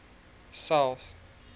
south